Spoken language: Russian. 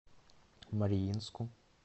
мариинску